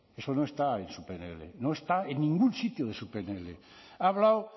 eso no está en su pnl no está en ningún sitio de su pnl ha hablado